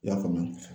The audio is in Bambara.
I y'a faamu